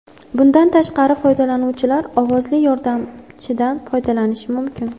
Bundan tashqari, foydalanuvchilar ovozli yordamchidan foydalanishi mumkin.